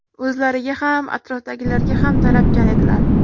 O‘zlariga ham, atrofdagilarga ham talabchan edilar.